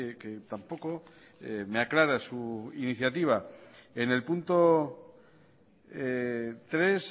que tampoco me aclara su iniciativa en el punto tres